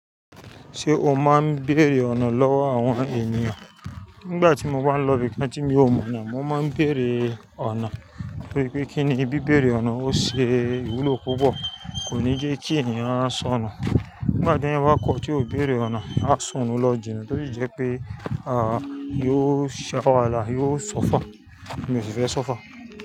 Ṣé o máa ń béèrè ọ̀nà lọ́wọ́ àwọn ènìyàn? Nígbà tí mo bá ń lọ ibi kí tí mi ò mọ̀ náà, mo máa ń béèrè ọ̀nà torí pé kíni bí béèrè ọ̀nà, ó ṣe ìwúlò púpọ̀. Kò ní jẹ́ kí ẹ̀yàn á sọnù. Nígbà tó ẹ̀yin bá kọ̀ tí ò béèrè ọ̀nà, á sọnù lọ jinà torí jẹ́ pé, à, yóò ṣẹ́ wahalá yóò sọ́fà. Èmi o sì fẹ́ sọ́fà.